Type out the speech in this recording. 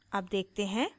अब देखते हैं